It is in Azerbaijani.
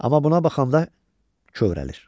Amma buna baxanda kövrəlir.